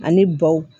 Ani baw